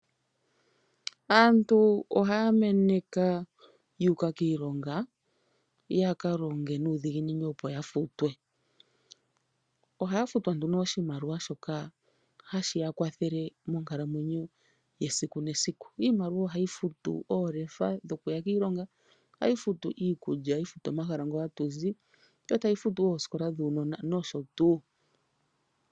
Aantu ohaya meneka ya uka kiilonga ya ka longe nuudhiginini opo ya futwe. Ohaya futwa nduno oshimaliwa shoka hashi ya kwathele monkalamwenyo yesiku nesiku. Iimaliwa ohayi futu oolefa dhokuya kiilonga, iikulya, omahala ngoka ha tu zi, yo tayi futu wo oosikola dhuunona nosho tuu.